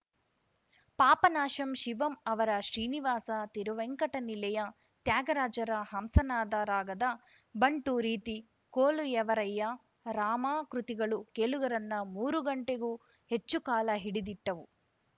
ಪಾಪನಾಶಂ ಶಿವಂ ಅವರ ಶ್ರೀನಿವಾಸ ತಿರುವೇಂಕಟ ನಿಲಯ ತ್ಯಾಗರಾಜರ ಹಂಸನಾದ ರಾಗದ ಬಂಟು ರೀತಿ ಕೋಲು ಎವರಯ್ಯ ರಾಮಾ ಕೃತಿಗಳು ಕೇಳುಗರನ್ನ ಮೂರು ಗಂಟೆಗೂ ಹೆಚ್ಚು ಕಾಲ ಹಿಡಿದಿಟ್ಟವು